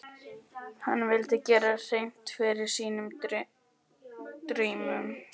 Hann vildi gera hreint fyrir sínum dyrum.